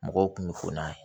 Mɔgɔw kun bɛ fona